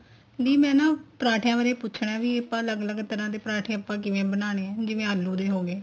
ਦੀ ਮੈਂ ਨਾ ਪਰਾਂਠਿਆਂ ਬਾਰੇ ਪੁੱਛਣਾ ਵੀ ਆਪਾਂ ਅੱਲਗ ਅੱਲਗ ਤਰ੍ਹਾਂ ਦੇ ਪਰਾਂਠੇ ਆਪਾਂ ਕਿਵੇਂ ਬਣਾਨੇ ਏ ਜਿਵੇਂ ਆਲੂ ਦੇ ਹੋ ਗਏ